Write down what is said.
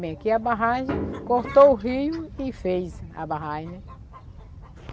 Bem, aqui é a barragem cortou o rio e fez a barragem